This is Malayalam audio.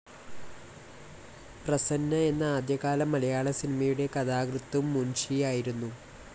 പ്രസന്ന എന്ന ആദ്യകാല മലയാള സിനിമയുടെ കഥാകൃത്തും മുൻഷിയായിരുന്നു.